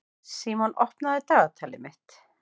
Símon, opnaðu dagatalið mitt.